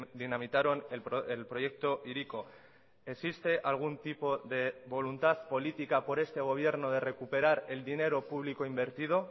dinamitaron el proyecto hiriko existe algún tipo de voluntad política por este gobierno de recuperar el dinero público invertido